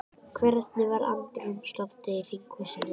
Hvernig var andrúmsloftið í þinghúsinu í dag?